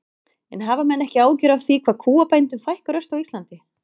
En hafa menn ekki áhyggjur af því hvað kúabændum fækkar ört á Íslandi?